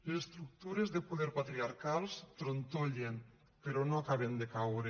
les estructures de poder patriarcals trontollen però no acaben de caure